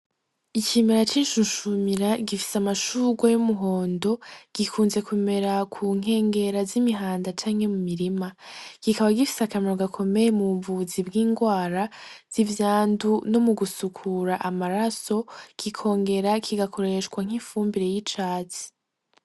Icimera cicushumira gifise amashurwa y'umuhondo gikunze kumera ku nkengera z'ibirabara canke mu mirima kikaba gifise akamaro gakomeye mu buvuzi bw'ingwara z'ivyandu no mu gusukura amaraso gikongera kigakoreshwa nk'imfumbire y'icazi.